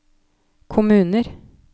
kommuner